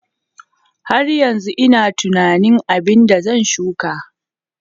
Har yanzu ina tunanin abin da zan shuka.